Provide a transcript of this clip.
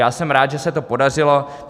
Já jsem rád, že se to podařilo.